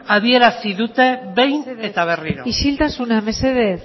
adierazi dute behin eta berriro mesedez isiltasuna mesedez